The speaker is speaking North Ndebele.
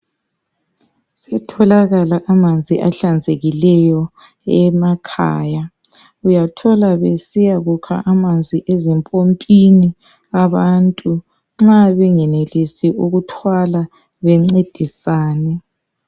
Setholakala amanzi ahlanzekileyo emakhaya. Uyathola besiyakukha amanzi ezimpompini abantu nxa bengenelisi ukuthwala bencedisane.